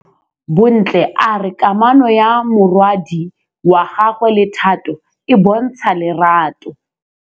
Bontle a re kamanô ya morwadi wa gagwe le Thato e bontsha lerato.